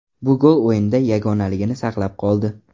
Bu gol o‘yinda yagonaligini saqlab qoldi.